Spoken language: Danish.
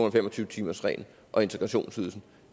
og fem og tyve timersreglen og integrationsydelsen